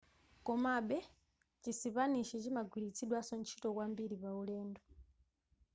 komabe chisipanishi chimagwiritsidwanso ntchito kwambiri paulendo